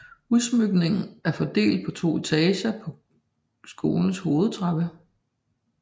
Udsmykningen er fordelt på to etager på skolens hovedtrappe